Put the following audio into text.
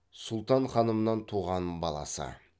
сұлтан ханымнан туған баласы